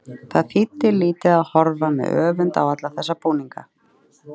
Það þýddi lítið að horfa með öfund á alla þessa búninga.